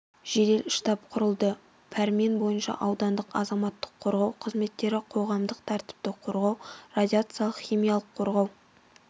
жедел штаб құрылды пәрмен бойынша аудандық азаматтық қорғау қызметтері қоғамдық тәртіпті қорғау радиациялық химиялық қорғау